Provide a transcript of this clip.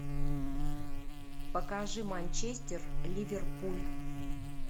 покажи манчестер ливерпуль